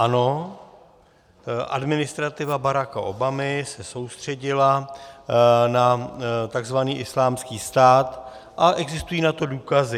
Ano, administrativa Baracka Obamy se soustředila na tzv. Islámský stát a existují na to důkazy.